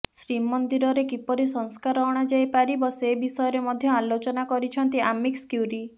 ଶ୍ରୀମନ୍ଦିରରେ କିପରି ସଂସ୍କାର ଅଣାଯାଇ ପାରିବ ସେ ବିଷୟରେ ମଧ୍ୟ ଆଲୋଚନା କରିଛନ୍ତି ଆମିକସ୍ କ୍ୟୁରୀ